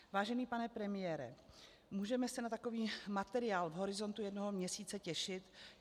Vážený pane premiére, můžeme se na takový materiál v horizontu jednoho měsíce těšit?